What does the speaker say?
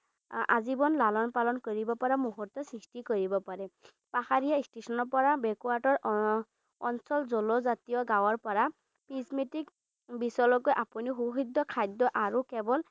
আজীৱন লালন পালন কৰিব পৰা মূহুৰ্ত সৃষ্টি কৰিব পাৰে। পাহাৰীয়া ষ্টেচনৰ পৰা backward ৰ backward ৰ আহ অঞ্চল, জলজাতীয় গাঁৱৰ পৰা charismatic beach লৈকে আপুনিও সূহৃত খাদ্য আৰু কেৱল